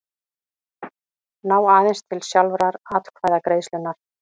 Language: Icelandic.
ná aðeins til sjálfrar atkvæðagreiðslunnar.